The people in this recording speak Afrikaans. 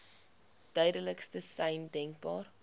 duidelikste sein denkbaar